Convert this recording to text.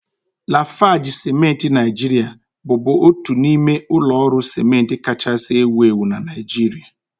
Lafarge ciment Naijiria bụbu otu n'ime ụlọ ọrụ ciment kachasị ewu ewu na Naịjirịa